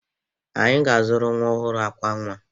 Anyị ga-azụrụ nwa ọhụrụ ákwà nwa.